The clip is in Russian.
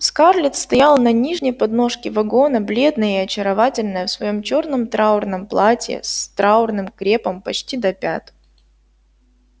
скарлетт стояла на нижней подножке вагона бледная и очаровательная в своём чёрном траурном платье с траурным крепом почти до пят